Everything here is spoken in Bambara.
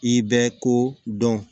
I bɛ ko dɔn